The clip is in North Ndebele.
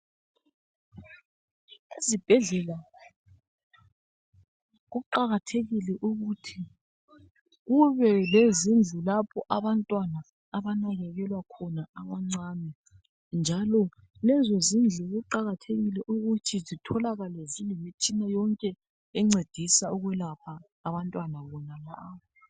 Ezibhedlela kuqakathekile ukuthi kube lezindlu lapho abantwana abanakelela khona abancane njalo lezo zindlu kuqakathekile ukuthi zitholakale zilemtshina yonke encedisa ukulapha abantwana abantwana bonalaba.